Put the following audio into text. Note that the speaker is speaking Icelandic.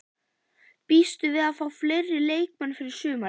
Býstu við að fá fleiri leikmenn fyrir sumarið?